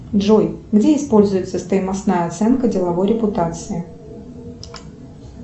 джой где используется стоимостная оценка деловой репутации